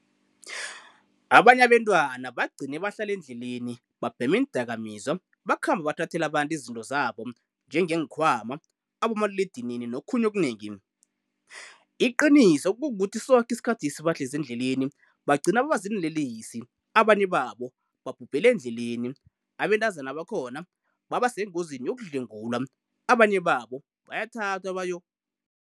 Abanye abentwana bacgine bahlala endleleni, babhema iindakamizwa, bakhamba bathathela abantu izinto zabo nje ngenkhwama, abomaliledinini nokhunye okunengi .iqiniso kukuthi soke isikhathi lesi bahlezi endleleni bagcina babaziinlelesi abanye babo babhubhela endleleni, abentazana bakhona babasengozini yokudlengulwa, abanye babo bayathathwa bayo.